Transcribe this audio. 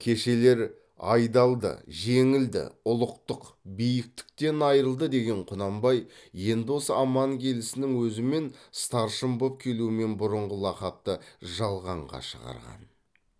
кешелер айдалды жеңілді ұлықтық биіктіктен айрылды деген құнанбай енді осы аман келісінің өзімен старшын боп келумен бұрынғы лақапты жалғанға шығарған